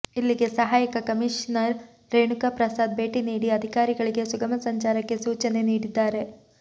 ಇಲ್ಲಿಗೆ ಸಹಾಯಕ ಕಮೀಷನರ್ ರೇಣುಕಾ ಪ್ರಸಾದ್ ಭೇಟಿ ನೀಡಿ ಅಧಿಕಾರಿಗಳಿಗೆ ಸುಗಮ ಸಂಚಾರಕ್ಕೆ ಸೂಚನೆ ನೀಡಿದ್ದಾರೆ